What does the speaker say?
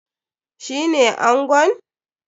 Shi ne angon?